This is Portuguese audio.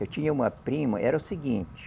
Eu tinha uma prima, era o seguinte.